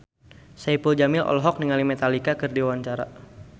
Saipul Jamil olohok ningali Metallica keur diwawancara